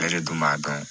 Bɛɛ de dun b'a dɔn